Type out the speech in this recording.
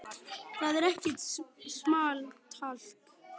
Það er ekkert small talk.